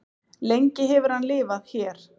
lengi hefur hann lifað hér